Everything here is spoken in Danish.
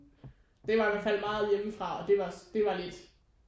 Det var i hvert fald meget hjemmefra og det var det var lidt